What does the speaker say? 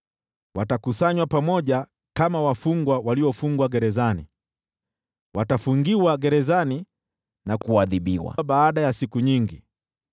Watakusanywa pamoja kama wafungwa waliofungwa gerezani, watafungiwa gerezani na kuadhibiwa baada ya siku nyingi.